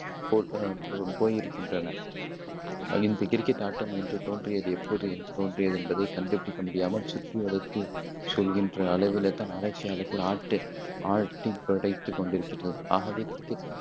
தோல்வியடைந்து போயிருக்கின்றனர். இந்த கிரிக்கெட் ஆட்டம் என்று தோன்றியது, எப்போது தோன்றியது என்பதை கண்டுபிடிக்க முடியாமல் சுற்றிவளைத்துச் சொல்கின்ற அளவிலே தான் ஆராய்ச்சியாளர்கள் ஆட்டு ஆட்டிப்படைத்துக் கொண்டிருக்கிறது. ஆகவே, கிரிக்கெட்